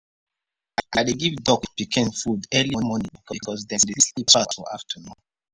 i dey give duck pikin food early morning because dem dey sleep pass for afternoon.